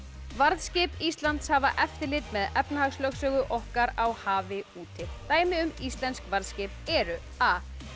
varðskip Íslands hafa eftirlit með efnahagslögsögu okkar á hafi úti dæmi um íslensk varðskip eru a